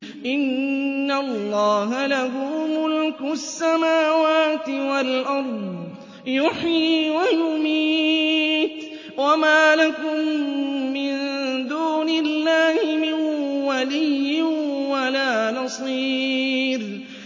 إِنَّ اللَّهَ لَهُ مُلْكُ السَّمَاوَاتِ وَالْأَرْضِ ۖ يُحْيِي وَيُمِيتُ ۚ وَمَا لَكُم مِّن دُونِ اللَّهِ مِن وَلِيٍّ وَلَا نَصِيرٍ